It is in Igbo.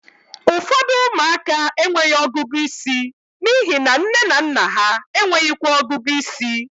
Ụfọdụ ụmụaka enweghị ọgụgụ isi n'ihi na nne na nna ha enweghịkwa ọgụgụ ịsị